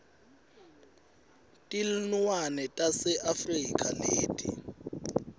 tilnuane tase afrika leti